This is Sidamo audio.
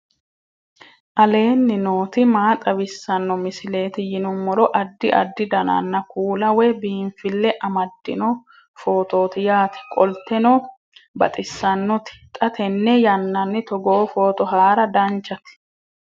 aleenni nooti maa xawisanno misileeti yinummoro addi addi dananna kuula woy biinfille amaddino footooti yaate qoltenno baxissannote xa tenne yannanni togoo footo haara danchate